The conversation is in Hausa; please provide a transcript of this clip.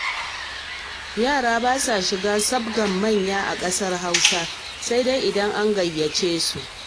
Yara ba sa shiga sabgar manya a ƙasar Hausa, sai dai idan an gayyace su